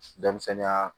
Denmisɛnninya